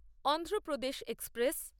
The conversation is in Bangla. অন্ধ্রপ্রদেশ এক্সপ্রেস